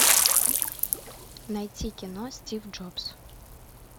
найти кино стив джобс